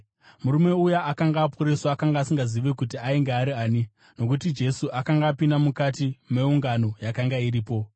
Murume uya akanga aporeswa akanga asingazivi kuti ainge ari ani, nokuti Jesu akanga apinda mukati meungano yakanga iripo.